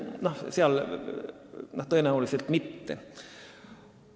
No nemad tõenäoliselt mitte.